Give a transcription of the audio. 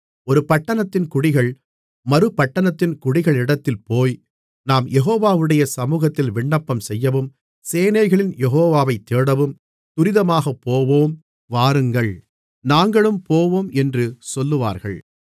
ஒரு பட்டணத்தின் குடிகள் மறுபட்டணத்தின் குடிகளிடத்தில் போய் நாம் யெகோவாவுடைய சமுகத்தில் விண்ணப்பம்செய்யவும் சேனைகளின் யெகோவாவை தேடவும் துரிதமாகப்போவோம் வாருங்கள் நாங்களும் போவோம் என்று சொல்லுவார்கள்